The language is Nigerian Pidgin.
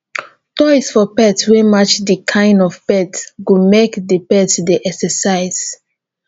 toys for pet wey match di kind of pet go make di pet dey exercise